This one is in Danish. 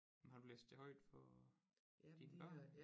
Har du læst det højt for dine børn